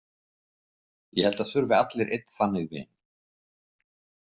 Ég held að það þurfi allir einn þannig vin.